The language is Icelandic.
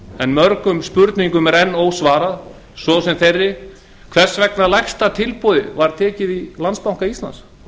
en mörgum spurningum þar er enn ósvarað eins og þeirri hvers vegna lægsta tilboði var tekið í landsbanka íslands